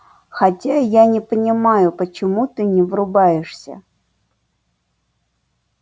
хотя я не понимаю почему ты не врубаешься